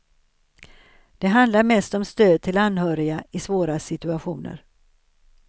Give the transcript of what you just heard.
Det handlar mest om stöd till anhöriga i svåra situationer.